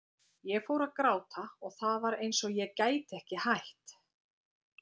Ég fór að gráta og það var eins og ég gæti ekki hætt.